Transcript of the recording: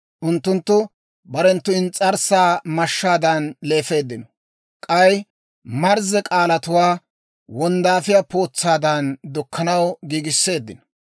Unttunttu barenttu ins's'arssaa mashshaadan leefeeddino; k'ay marzze k'aalatuwaa, wonddaafiyaa pootsaadan dukkanaw giigisseeddino.